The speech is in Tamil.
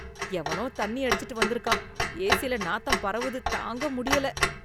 எவனோ தண்ணி அடிச்சிட்டு வந்து இருக்கான் ஏசில நாத்தம் பரவுது தாங்க முடியல.